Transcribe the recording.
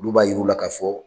Ulu b'a yiri u la ka fɔ